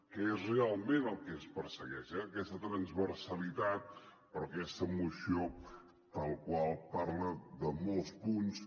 que és realment el que es persegueix eh aquesta transversalitat però aquesta moció tal qual parla de molts punts